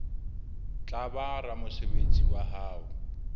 tla ba ramosebetsi wa hao